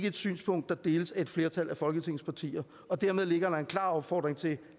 et synspunkt der deles af et flertal af folketingets partier dermed ligger der en klar opfordring til